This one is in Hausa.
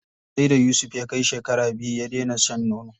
Sai da Yusuf ya kai shekara biyu ya dena shan nono.